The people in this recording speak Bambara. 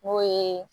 N'o ye